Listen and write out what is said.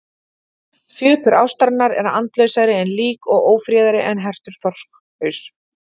Fjötur ástarinnar er andlausari en lík og ófríðari en hertur þorskhaus.